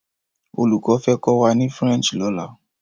Oluko fẹ́ kọ́ wá ni French lọ́la.